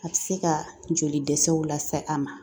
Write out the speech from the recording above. A tɛ se ka joli dɛsɛw lase a ma